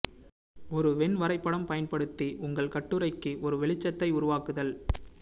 ஒரு வென் வரைபடம் பயன்படுத்தி உங்கள் கட்டுரைக்கு ஒரு வெளிச்சத்தை உருவாக்குதல்